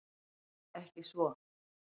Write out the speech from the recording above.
Ekki svo